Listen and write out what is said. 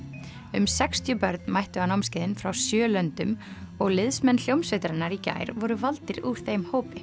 um sextíu börn mættu á námskeiðin frá sjö löndum og liðsmenn hljómsveitarinnar í gær voru valdir úr þeim hópi